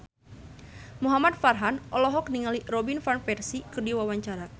Muhamad Farhan olohok ningali Robin Van Persie keur diwawancara